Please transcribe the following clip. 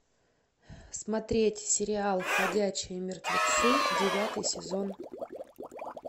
смотреть сериал ходячие мертвецы девятый сезон